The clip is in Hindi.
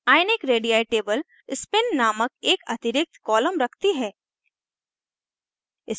ionic radii table spin named एक अतिरिक्त column रखती है